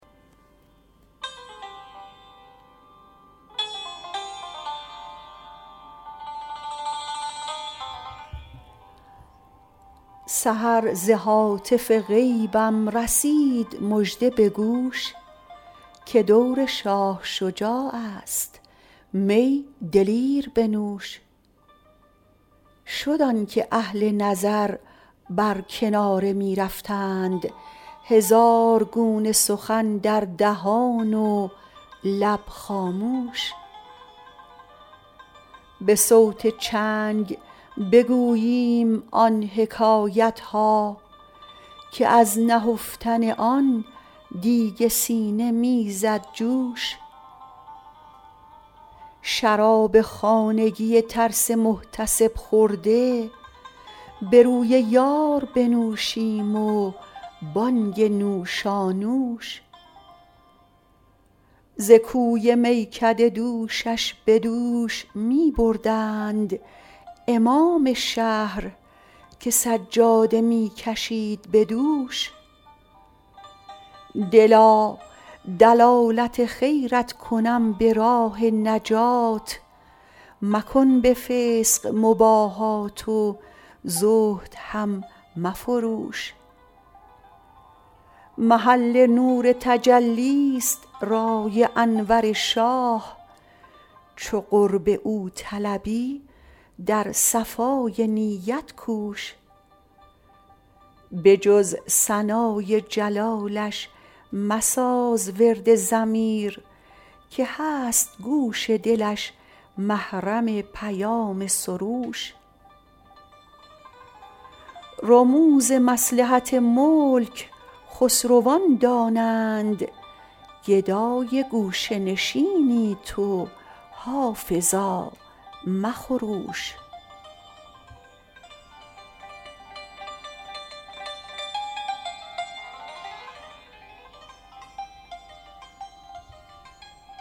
سحر ز هاتف غیبم رسید مژده به گوش که دور شاه شجاع است می دلیر بنوش شد آن که اهل نظر بر کناره می رفتند هزار گونه سخن در دهان و لب خاموش به صوت چنگ بگوییم آن حکایت ها که از نهفتن آن دیگ سینه می زد جوش شراب خانگی ترس محتسب خورده به روی یار بنوشیم و بانگ نوشانوش ز کوی میکده دوشش به دوش می بردند امام شهر که سجاده می کشید به دوش دلا دلالت خیرت کنم به راه نجات مکن به فسق مباهات و زهد هم مفروش محل نور تجلی ست رای انور شاه چو قرب او طلبی در صفای نیت کوش به جز ثنای جلالش مساز ورد ضمیر که هست گوش دلش محرم پیام سروش رموز مصلحت ملک خسروان دانند گدای گوشه نشینی تو حافظا مخروش